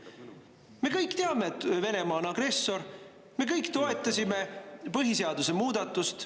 Me kõik teame, et Venemaa on agressor, me kõik toetasime põhiseaduse muudatust.